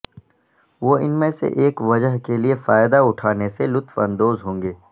وہ ان میں سے ایک وجہ کے لئے فائدہ اٹھانے سے لطف اندوز ہوں گے